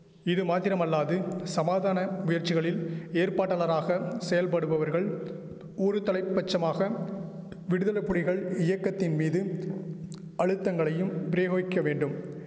இது மாத்திரமல்லாது சமாதான முயற்சிகளில் ஏற்பாட்டாளராக செயல்படுவர்கள் ஒருதலை பட்சமாக விடுதல புலிகள் இயக்கத்தின் மீதும் அழுத்தங்களையும் பிரேயோகிக்க வேண்டும்